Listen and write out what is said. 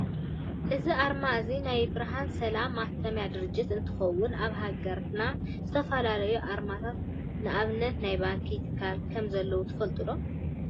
እዚ ኣርማ እዚ ናይ ብርሃንና ሰላም ማተሚያ ድርጅት እንትከውን ኣብ ሃገርና ዝተፈላለዩ ኣርማታት ንኣብነት ናይ ባንክን ትካላትን ከም ዘለው ትፈልጡ ዶ ?